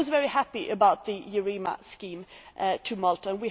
I was very happy about the EUREMA scheme in Malta.